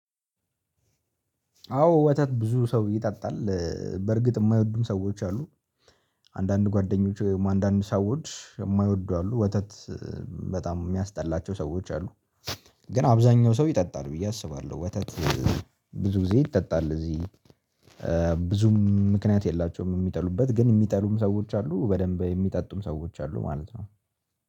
አዎ ወተት ብዙ ሰው ይጠጣል። በርግጥ የማይወዱም ሰዎች አሉ። አንዳንድ ጓደኞች አንዳንድ ሰዎች የማይወዱ አሉ ወተት በጣም የሚያስጠላቸው ሰዎች አሉ። ግን አብዛኛው ሰው ይጠጣል ብዬ አስባለሁ ወተት ብዙ ጊዜ ይጠጣል እዚህ። ብዙም ምክንያት የላቸውም የሚጠሉበት ግን የሚጠሉም ሰዎች አሉ በደንብ የሚጠጡም ሰዎች አሉ ማለት ነው